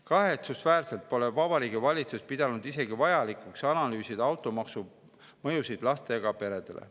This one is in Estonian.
Kahetsusväärselt pole Vabariigi Valitsus pidanud isegi vajalikuks analüüsida automaksu mõjusid lastega peredele.